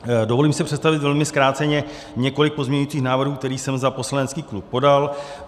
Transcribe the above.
Dovolím si představit velmi zkráceně několik pozměňovacích návrhů, které jsem za poslanecký klub podal.